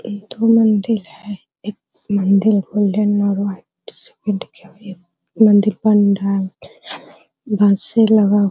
एक ठो मंदील है | एक मंदिर गोल्डन और वाइट से पेंट किया हुआ है | मंदील पंडाल बासे लगा --